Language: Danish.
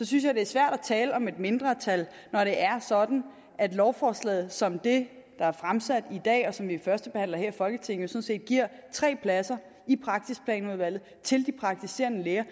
synes jeg det er svært at tale om et mindretal når det er sådan at lovforslaget som det der er fremsat i dag og som vi førstebehandler her i folketinget set giver tre pladser i praksisplanudvalget til de praktiserende læger